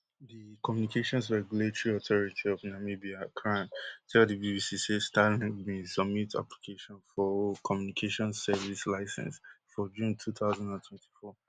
di communications regulatory authority of namibia cran tell di BBC say starlink bin submit application for o telecommunications service licence for june two thousand and twenty-four